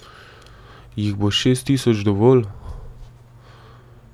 Jih bo šest tisoč dovolj?